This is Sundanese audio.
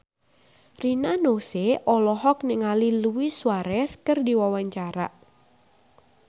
Rina Nose olohok ningali Luis Suarez keur diwawancara